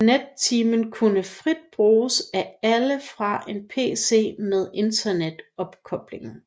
Net Timen kunne frit bruges af alle fra en pc med internetopkobling